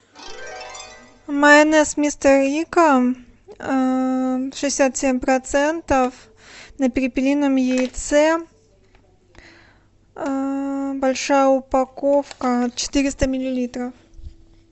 майонез мистер рикко шестьдесят семь процентов на перепелином яйце большая упаковка четыреста миллилитров